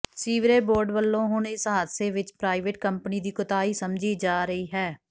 sewerage board ਵੱਲੋਂ ਹੁਣ ਇਸ ਹਾਦਸੇ ਵਿੱਚ ਪ੍ਰਾਈਵੇਟ ਕੰਪਨੀ ਦੀ ਕੋਤਾਹੀ ਸਮਝੀ ਜਾ ਰਹੀ ਹੈ